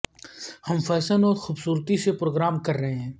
ہم فیشن اور خوبصورتی سے گرم کر رہے ہیں